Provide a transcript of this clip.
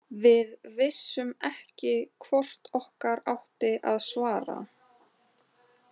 Við vissum ekki hvort okkar átti að svara.